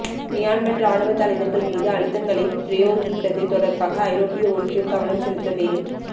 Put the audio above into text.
Myanmar இராணுவ தலைவர்கள் மீது அழுத்தங்களை பிரயோகிப்பது தொடர்பாக ஐரோப்பிய ஒன்றியம் கவனம் செலுத்த வே